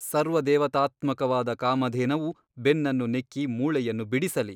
ಸರ್ವದೇವತಾತ್ಮಕವಾದ ಕಾಮಧೇನವು ಬೆನ್ನನ್ನು ನೆಕ್ಕಿ ಮೂಳೆಯನ್ನು ಬಿಡಿಸಲಿ.